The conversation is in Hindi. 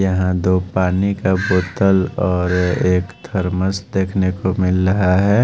यहां दो पानी का बोतल और एक थर्मस देखने को मिल रहा है।